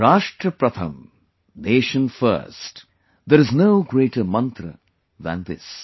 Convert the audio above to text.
Rashtra Pratham Nation First There is no greater mantra than this